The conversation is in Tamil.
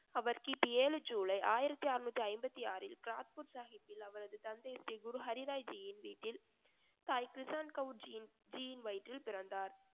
அவர் கிபி ஏழு ஜூலை ஆயிரத்தி ஆறுநூத்தி ஐம்பத்தி ஆறில் கிராத்பூர் சாஹிப்பில் அவரது தந்தை ஸ்ரீ குரு ஹரிராய்ஜியின் வீட்டில் சாயி கிரிஸான் கவுர்ஜியின் வயிற்றில் பிறந்தார்